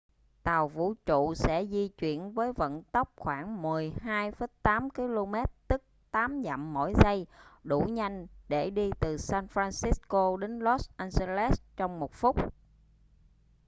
tàu vũ trụ sẽ di chuyển với vận tốc khoảng 12,8 km tức 8 dặm mỗi giây đủ nhanh để đi từ san francisco đến los angeles trong một phút